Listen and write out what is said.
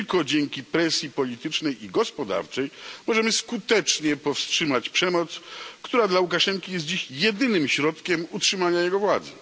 Tylko dzięki presji politycznej i gospodarczej możemy skutecznie powstrzymać przemoc, która dla Łukaszenki jest dziś jedynym środkiem utrzymania jego władzy.